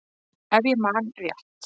Ef ég man rétt.